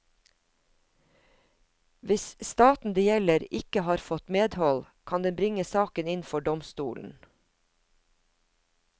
Hvis staten det gjelder ikke har fått medhold, kan den bringe saken inn for domstolen.